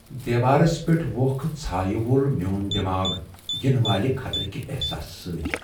دیوارس پیٹھ ووکھٕ ژھایہ وول میون دماغ ینہٕ والہِ خطرٕ كہِ احساسہٕ سٕتۍ ۔